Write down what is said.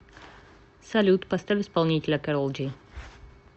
салют поставь исполнителя кэрол джи